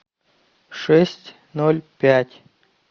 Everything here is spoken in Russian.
шесть ноль пять